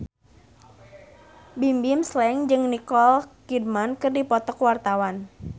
Bimbim Slank jeung Nicole Kidman keur dipoto ku wartawan